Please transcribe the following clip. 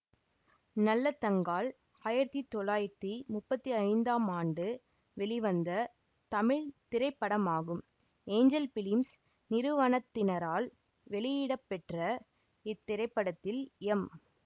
நல்லதங்காள் ஆயிரத்தி தொள்ளாயிரத்தி முப்பத்தி ஐந்தாம் ஆண்டு வெளிவந்த தமிழ் திரைப்படமாகும் ஏஞ்சல் பிலிம்ஸ் நிறுவனத்தினரால் வெளியிடப்பெற்ற இத்திரைப்படத்தில் எம்